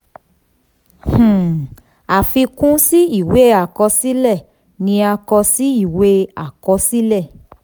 ìwé owó tí a le gba ati san nṣiṣẹ̀ pọ̀ b/r ati b/p.